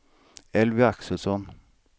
Elvy Axelsson